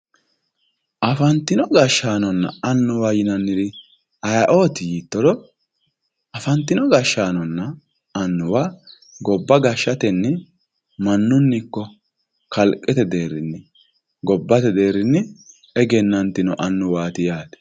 afantino gashshaanonna annuwa yinanniri ayeeooti yiittoro afantino gashshaanonna annuwa gobba gashshatenni mannunni ikko kalqete deerrinni gobbate deerrinni egenantino annuwaati yaate.